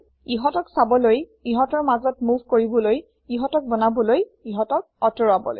ইহতক চাবলৈ ইহতৰ মাজত মুভ কৰিবলৈ ইহতক বনাবলৈ ইহতক আতৰাবলৈ